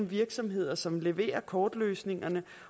virksomheder som leverer kortløsningerne